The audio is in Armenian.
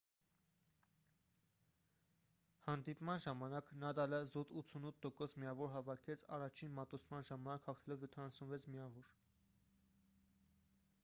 հանդիպման ժամանակ նադալը զուտ 88% միավոր հավաքեց առաջին մատուցման ժամանակ հաղթելով 76 միավոր